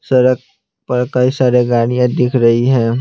सड़क पर कई सारे गाड़ियाँ दिख रही हैं।